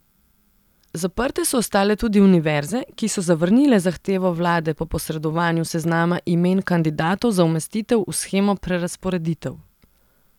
Zaprte so ostale tudi univerze, ki so zavrnile zahtevo vlade po posredovanju seznama imen kandidatov za umestitev v shemo prerazporeditev.